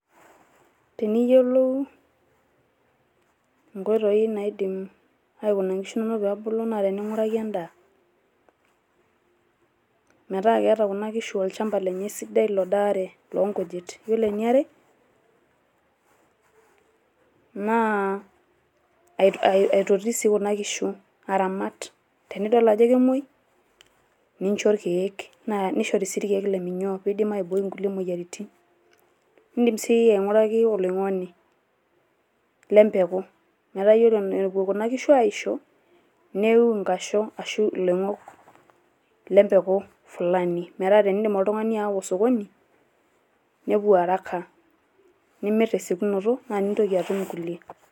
Teniyiolou nkoitoi naidim aikuna nkishu inonok pee ebulu naa tening`uraki endaa. Metaa keeta kuna kishu olchamba lenye sidai lodaare loo nkujit. Yiolo e niare naa aitoti sii kuna kishu aramat. Tenidol ajo kemuoi nincho ilkiek, naa nishori sii ilkiek le minyoo pee eidim aibooi kulie moyiaritin. Idim sii aing`uraki oloing`oni le mpeku metaa ore epuo kuna kishu aisho neiyiu nkasho ashu iloing`ok le mpeku fulani metaa enidim oltung`ani aawaa osokoni nepuo haraka nimirr te siokinoto naa ninyiang`u ilkulie.